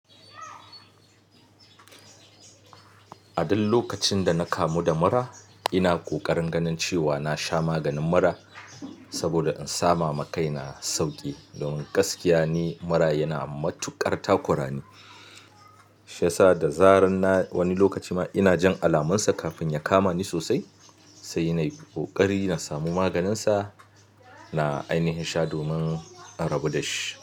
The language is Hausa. A ɗan lokacin da na kamu da mura, ina ƙoƙarin ganin cewa na sha maganin mura saboda in sama ma kaina sauƙi. Domin gaskiya ni mura yana matuƙar takura ni. Shiyasa da zarar na wani lokaci ina jin alamunsa kafin ya kama ni sosai, sai nayi ƙoƙari na samu maganinsa, na ainihi sha domin in rabu dashi.